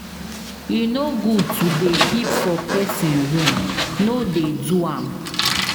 E no good to dey peep for pesin room, no dey do am.